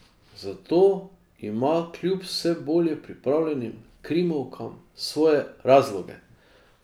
Za to ima kljub vse bolje pripravljenim krimovkam svoje razloge.